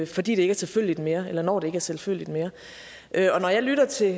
fordi det ikke er selvfølgeligt mere eller når det ikke er selvfølgeligt mere og når jeg lytter til